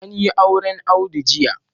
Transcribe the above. An yi auren Audu jiya